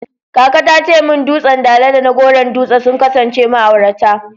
Kaka ta ce min dutsen Dala da na Goron Dutse sun kasance ma'aurata.